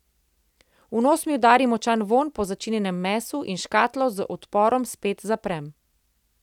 V nos mi udari močan vonj po začinjenem mesu in škatlo z odporom spet zaprem.